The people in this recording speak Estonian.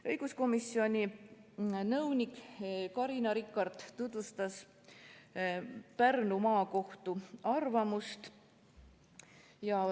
Õiguskomisjoni nõunik Carina Rikart tutvustas Pärnu Maakohtu arvamust.